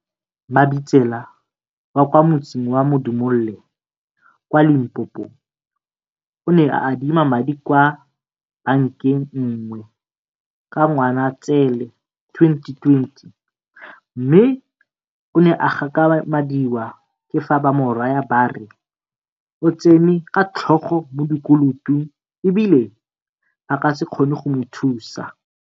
Mabitsela, wa kwa motseng wa Modimolle kwa Limpopo, o ne a adima madi kwa bankeng nngwe ka Ngwanaitseele 2020, mme o ne a gakgamadiwa ke fa ba mo raya ba re o tsene ka tlhogo mo dikolotong e bile ba ka se kgone go mo thusa.